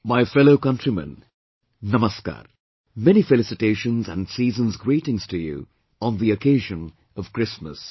My fellow countrymen, Namaskar, many felicitations and season's greetings to you on the occasion of Christmas